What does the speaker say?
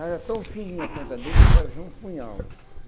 Era tão fininha a ponta dele que parecia um punhal.